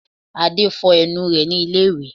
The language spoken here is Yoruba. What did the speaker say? Adé fọ ẹnu rẹ ní ilé ìwẹ̀